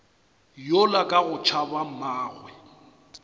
yola ka go tšhaba mmagwe